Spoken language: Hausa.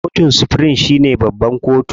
Kotun supirim shine babban kotu.